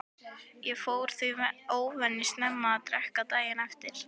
Ég fór því óvenju snemma að drekka daginn eftir.